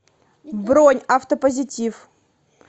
бронь автопозитив